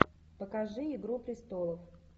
покажи игру престолов